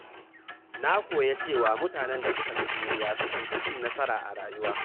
Na koya cewa mutanen da suka fi juriya sukan fi cin nasara a rayuwa.